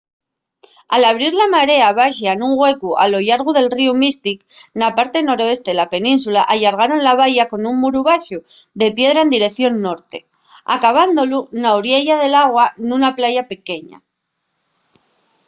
al abrir la marea baxa un güecu a lo llargo del ríu mystic na parte noreste de la península allargaron la valla con un muru baxu de piedra en direición norte acabándolu na oriella del agua nuna playa pequeña